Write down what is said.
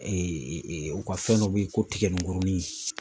Ee e e u ka fɛn dɔ be yen ko tigɛninkurunin